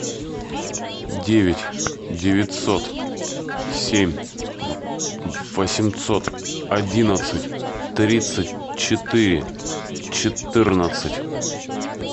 девять девятьсот семь восемьсот одиннадцать тридцать четыре четырнадцать